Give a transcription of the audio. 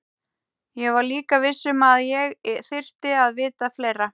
Ég var líka viss um að ég þyrfti að vita fleira.